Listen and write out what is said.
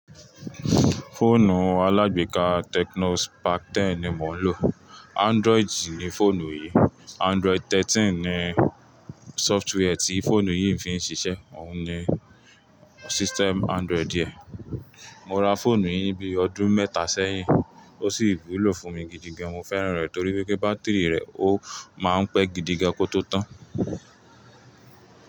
Fóònù alágbéka Tecno Spark 10 ni mò ń lò. Android ni fóònù yìí. Android thirteen ni software tí fóònù yìí fi ń ṣiṣẹ́. Òun ni system Android yẹn. Mo ra fóònù yìí ní bíi ọdún mẹ́ta sẹ́yìn ó sì rí lò fún mi gidigan. Mo fẹ́ràn rẹ̀ torí pé kí bátírì rẹ̀ ó máa ń pẹ́ gidigan kó tó tán.